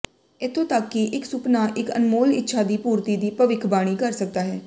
ਇੱਥੋਂ ਤੱਕ ਕਿ ਇੱਕ ਸੁਪਨਾ ਇੱਕ ਅਨਮੋਲ ਇੱਛਾ ਦੀ ਪੂਰਤੀ ਦੀ ਭਵਿੱਖਬਾਣੀ ਕਰ ਸਕਦਾ ਹੈ